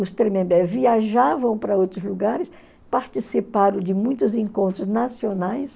Os Tremembé viajavam para outros lugares, participaram de muitos encontros nacionais,